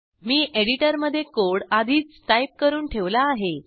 मी एडिटरमधे कोड आधीच टाईप करून ठेवला आहे